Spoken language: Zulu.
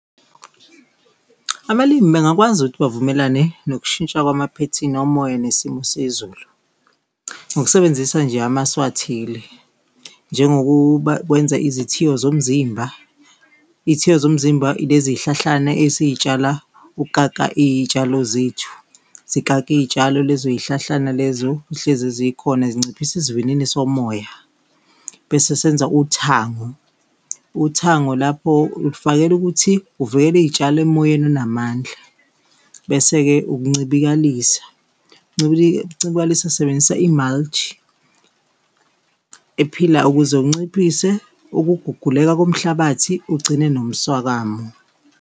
Abalimi bengakwazi ukuthi bavumelane nokushintsha kwamaphethini omoya nesimo sezulu. Ngokusebenzisa nje amasu athile njengokukwenza izithiyo zomzimba, izithiyo zomzimba lezi zihlahlana esizitshala ukukaka iyitshalo zethu zikake iyitshalo lezo zihlahlana lezo, zihlezi zikhona zinciphise isivinini somoya. Bese senza uthango, uthango lapho ulifakele ukuthi uvikele iyitshalo emoyeni onamandla. Bese-ke ukuncibilikalisa, ukuncibikalisa usebenzisa i-mulch ephilayo ukuze unciphise ukuguguleka komhlabathi, ugcine nomswakamo.